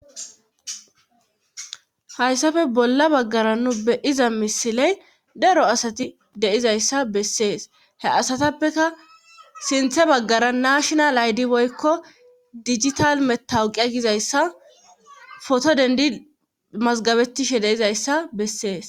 hayssafe bolla baggara nu be'iza misiley daro asati de'izayssa bessees he asatappeka sinthe baggara naashinal aydi woykko digital metawuqe gizayssa foto dendi mazgabettishe de'izayssa bessees